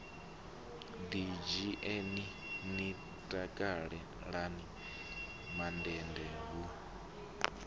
ḓidzhieni ni takalani mandende hu